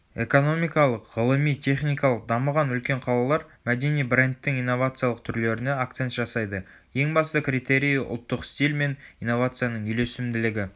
экономикалық ғылыми-техникалық дамыған үлкен қалалар мәдени брендтің инновациялық түрлеріне акцент жасайды ең басты критерийі ұлттық стиль мен инновацияның үйлесімділігі